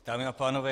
Dámy a pánové.